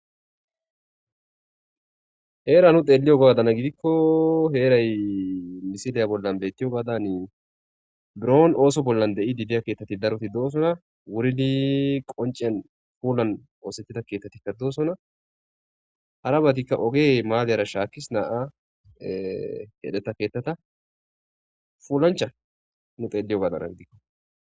Hera nu xelibadan gidiko heray misile bolla de'izaysatho gidiko buro de'idi de'iya keethati daroti doosona wuridi qoncen pulan osetida keethatika netosona harabati maran ogey shakis nam'a